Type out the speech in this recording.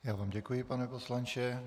Já vám děkuji, pane poslanče.